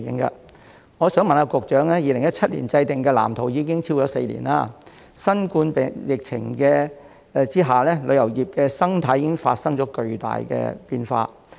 《發展藍圖》自2017年制訂至今已超過4年，在新冠疫情下，旅遊業的生態亦已發生巨大變化。